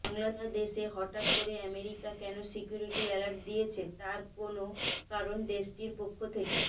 বাংলাদেশে হঠাৎ করে আমেরিকা কেন সিকিউরিটি অ্যালার্ট দিয়েছে তার কোনো কারণ দেশটির পক্ষ থেকে